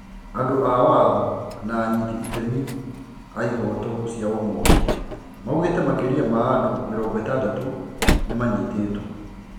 Andũ aa watho na anyiti itemi wa ihoto cia umundũ maugite makiria ma andũ 60 nimanyitetwo.